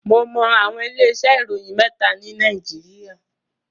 Mo mọ àwọn ilé iṣẹ́ ìwé ìròyìn mẹ́ta ni Nàìjíríà.